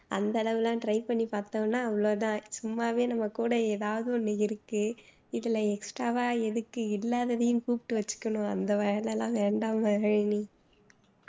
அந்த அளவெல்லாம் try பண்ணி பாத்தோமா அவ்ளோ தான் சும்மாவே நம்ம கூட எதாவது ஒண்ணு இருக்கு இதுல extra வா எதுக்கு இல்லாததையும் கூப்பிட்டு வச்சுக்கணும் அந்த வேலை எல்லாம் வேண்டாம் மகிழினி